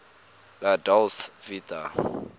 la dolce vita